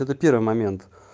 это первый момент